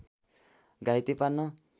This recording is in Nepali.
घाइते पार्न